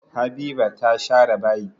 Habiba ta share bayi.